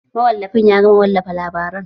Mawallafin ya gama wallafa labaran